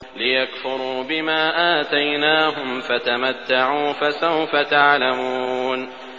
لِيَكْفُرُوا بِمَا آتَيْنَاهُمْ ۚ فَتَمَتَّعُوا ۖ فَسَوْفَ تَعْلَمُونَ